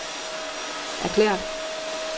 erklæret